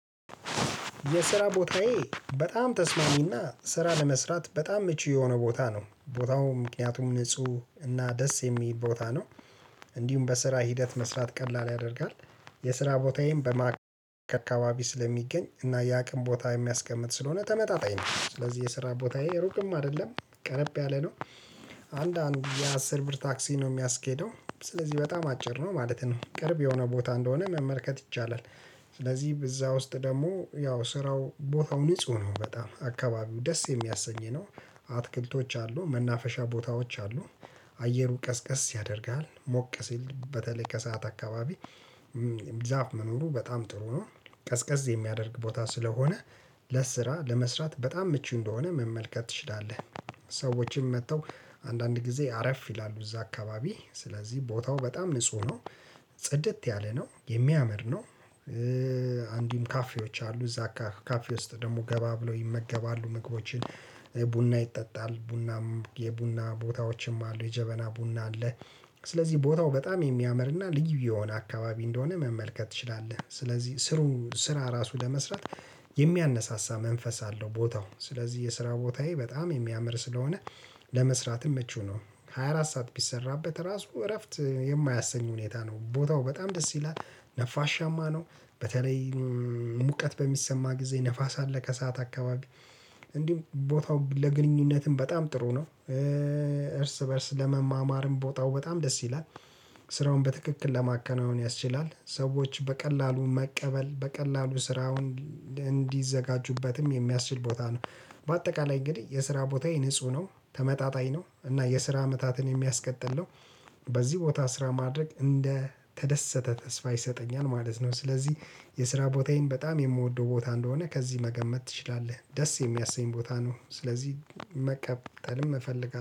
የስራ ቦታዬ በጣም ተስማሚና ስራ ለመስራት በጣም ምቹ የሆነ ቦታ ነው ቦታው ምክንያቱም ንጹህ እና ደስ የሚል ቦታ ነው። እንዲሁም በስራ ሂደት መስራት ቀላል ያደርጋል። የስራ ቦታዬን በማካከል አካባቢ ስለሚገኝ እና የአቅም ቦታ የሚያስቀምጥ ስለሆነ ተመጣጣኝ ነው ስለዚህ የስራ ቦታዬ ሩቅም አይደለም ቀረብ ያለ ነው። አንዳንድ የአስር ብር ታክሲ ነው የሚያስኬደው ስለዚህ በጣም አጭር ነው ማለት ነው ቅርብ የሆነ ቦታ እንደሆነ መመልከት ይቻላል። ስለዚህ እዛ ውስጥ ደግሞ ያው ስራው ቦታው ንጹህ ነው በጣም አካባቢው ደስ የሚያሰኝ ነው። አትክልቶች አሉ መናፈሻ ቦታዎች አሉ። አየሩ ቀዝቀዝ ያደርግሃል ሞቀ ሲል በተለይ ከሰአት አካባቢ። ዛፍ መኖሩ በጣም ጥሩ ነው። ቀዝቀዝ የሚያደርግ ቦታ ስለሆነ። ለስራ ለመስራት በጣም ምቹ እንደሆነ መመልከት ትችላለህ። ሰዎችም መጥተው አንዳንድ ጊዜ አረፍ ይላሉ እዛ አካባቢ ስለዚህ ቦታው በጣም ንጹህ ነው። ጽድት ያለ ነው የሚያምር ነው። አንዲሁም ካፌዎች አሉ እዛ ካፌ ውስጥ ደግሞ ገባ ብለው ይመገባሉ ምግቦችን። ቡና ይጠጣል ቡናም የቡና ቦታዎችም አሉ የጀበና ቡና አለ። ስለዚህ ቦታው በጣም የሚያምርና ልዩ የሆነ አካባቢ እንደሆነ መመልከት ትችላለህ ስለዚህ ስራ ራሱ ለመስራት። የሚያነሳሳ መንፈስ አለው ቦታው ስለዚህ የስራ ቦታዬ በጣም የሚያምር ስለሆነ። ለመስራትም መቹ ነው ሃያ አራት ሰዓት ቢሰራበት ራሱ እረፍት የማያሰኝ ሁኔታ ነው ቦታው በጣም ደስ ይላል። ነፋሻማ ነው። በተለይ ሙቀት በሚሰማ ጊዜ ንፋስ አለ ከሰአት አካባቢ። እንዲህም ቦታው ለግንኙነትም በጣም ጥሩ ነው። እርስ በእርስ ለመማማርም ቦታው በጣም ደስ ይላል። ስራውን በትክክል ለማከናወን ያስችላል ሰዎች በቀላሉ መቀበል በቀላሉ ስራውን እንዲዘጋጁበትም የሚያስችል ቦታ ነው። በአጠቃላይ እንግዲህ የስራ ቦታዬ ንጹህ ነው ተመጣጣኝ ነው እና የስራ አመታትን የሚያስቀጥል ነው። በዚህ ቦታ ስራ ማድረግ እንደተደሰተ ተስፋ ይሰጠኛል ማለት ነው። ስለዚህ የስራ ቦታዬን በጣም የምወደው ቦታ እንደሆነ ከዚህ መገመት ትችላለህ። ደስ የሚያሰኝ ቦታ ነው። ስለዚህ መቀጠልም እፈልጋለሁ